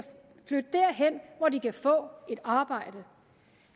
flytte derhen hvor de kan få et arbejde